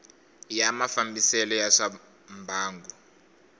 ya mafambisele ya swa mbangu